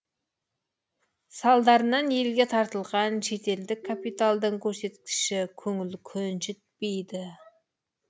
салдарынан елге тартылған шетелдік капиталдың көрсеткіші көңіл көншітпейді